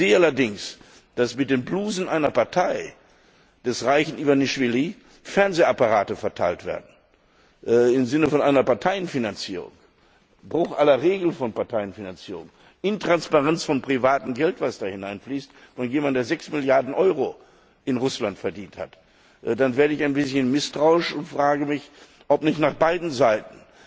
Wenn ich allerdings sehe, dass mit den Blusen der Partei des reichen Iwanischwili Fernsehapparate verteilt werden im Sinne einer Parteienfinanzierung, Bruch aller Regeln von Parteienfinanzierung, Intransparenz von privatem Geld, das da hineinfließt, von jemandem, der 6 Milliarden Euro in Russland verdient hat dann werde ich ein bisschen misstrauisch und frage mich, ob nicht nach beiden Seiten